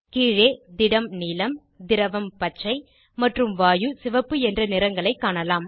கீழே திடம் நீலம் திரவம் பச்சை மற்றும் வாயு சிவப்பு என்ற நிறங்களைக் காணலாம்